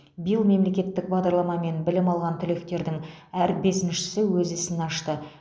биыл мемлекеттік бағдарламамен білім алған түлектердің әр бесіншісі өз ісін ашты